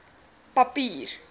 papier